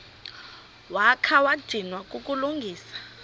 wakha wadinwa kukulungisa